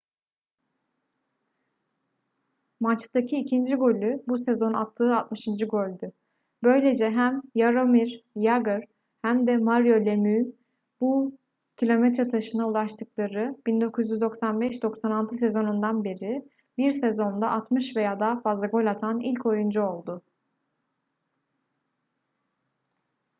maçtaki ikinci golü bu sezon attığı 60. goldü böylece hem jaromir jagr hem de mario lemieux'un bu kilometre taşına ulaştıkları 1995-96 sezonundan beri bir sezonda 60 veya daha fazla gol atan ilk oyuncu oldu